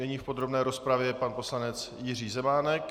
Nyní v podrobné rozpravě pan poslanec Jiří Zemánek.